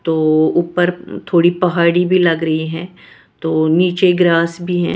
तो ऊपर थोड़ी पहाड़ी भी लग रही है तो नीचे ग्रास भी है।